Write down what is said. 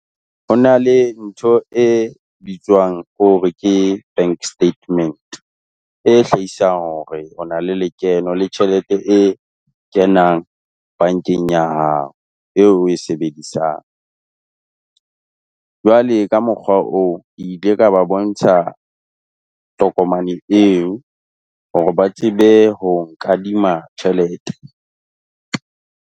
Ho na le ntho e bitswang hore ke bank statement e hlahisang hore o na le lekeno, le tjhelete e kenang bankeng ya hao eo, oe sebedisang. Jwale ka mokgwa oo, ke ile ka ba bontsha tokomane eo hore ba tsebe ho nkadima tjhelete.